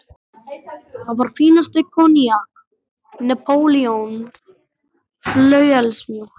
Það var fínasta koníak: Napóleon, flauelsmjúkt.